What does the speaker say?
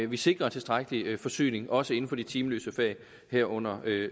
vi sikrer tilstrækkelig forsyning også inden for de timeløse fag herunder